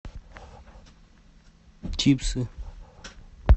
чипсы